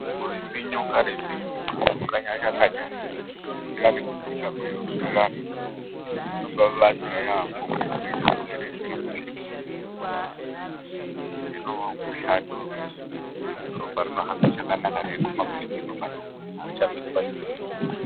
Kurimbinyuka rimbinyuka; kukanyarika kanyarika; kukwira nekudzika mweirumbirirana, zvinobaabatsira yaambo kuti zvimweni zvirwere zvisaramba zvirimwo mumwiri memuntu. Zvino mushando wekuti ropa rinohamba zvakanaka reiguma kweshe kwerinofanira kuguma, arichamiri panzvimbo imwe.